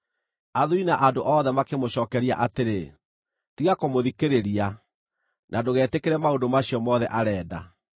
Athuuri na andũ othe makĩmũcookeria atĩrĩ, “Tiga kũmũthikĩrĩria, na ndũgetĩkĩre maũndũ macio mothe arenda.”